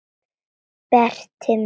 Berti minn.